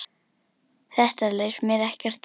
Þetta leist mér ekkert á.